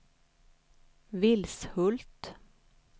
Vilshult